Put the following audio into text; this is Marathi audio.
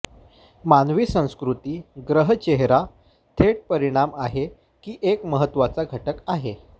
मानवी संस्कृती ग्रह चेहरा थेट परिणाम आहे की एक महत्त्वाचा घटक आहे